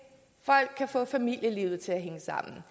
folk kan få familielivet til at hænge sammen